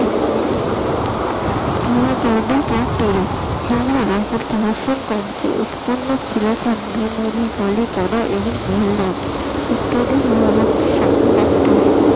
এবং ইত্যাদি